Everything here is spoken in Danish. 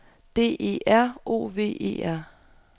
D E R O V E R